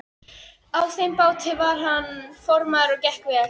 Á þeim báti var hann formaður og gekk vel.